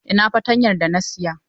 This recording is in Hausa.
Ina fatanyar da na saya?